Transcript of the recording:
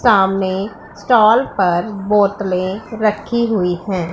सामने स्टॉल पर बोतलें रखी हुई हैं।